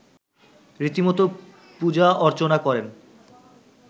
রীতিমতো পূজা-অর্চনা করেন